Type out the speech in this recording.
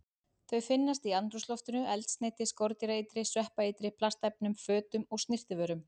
Þau finnast í andrúmsloftinu, eldsneyti, skordýraeitri, sveppaeitri, plastefnum, fötum og snyrtivörum.